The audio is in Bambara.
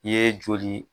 I ye joli